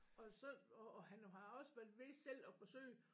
Og så og og han har også været ved selv at forsøge